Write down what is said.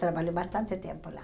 Trabalhou bastante tempo lá.